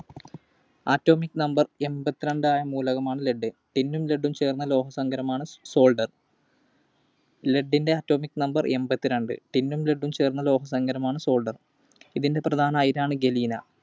Atomic Number എൺപത്തിരണ്ട്‍ ആയ മൂലകമാണ് Lead. Tin ഉം Lead ഉം ചേർന്ന ലോഹസങ്കരമാണ് solder. Lead ൻറെ Atomic Number എൺപത്തിരണ്ട്‍. Tin ഉം Lead ഉം ചേർന്ന ലോഹസങ്കരമാണ് solder തിൻറെ പ്രധാന അയിരാണ് Galena.